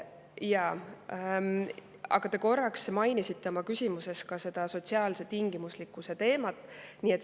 Jaa, aga te korraks mainisite oma küsimuses ka seda sotsiaalse tingimuslikkuse teemat.